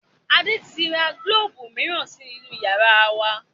Adé tí ra gílóóbù miran sí inú yàrá wa